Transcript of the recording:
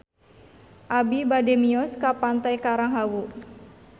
Abi bade mios ka Pantai Karang Hawu